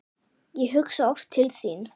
Ég hugsa oft til þín.